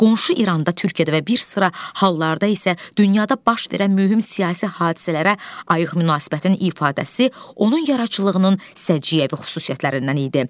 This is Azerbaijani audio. Qonşu İranda, Türkiyədə və bir sıra hallarda isə dünyada baş verən mühüm siyasi hadisələrə ayıq münasibətin ifadəsi onun yaradıcılığının səciyyəvi xüsusiyyətlərindən idi.